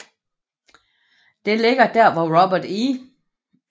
Det ligger der hvor Robert E